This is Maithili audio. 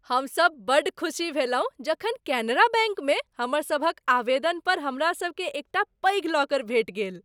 हमसभ बड़ खुसी भेलहुँ जखन केनरा बैंकमे हमर सभक आवेदन पर हमरा सबकेँ एकटा पैघ लॉकर भेटि गेल।